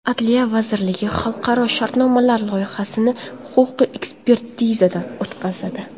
Adliya vazirligi xalqaro shartnomalar loyihasini huquqiy ekspertizadan o‘tkazadi.